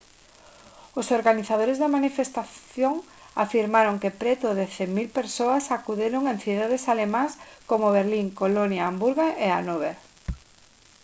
os organizadores da manifestación afirmaron que preto de 100 000 persoas acudiron en cidades alemás como berlín colonia hamburgo e hanover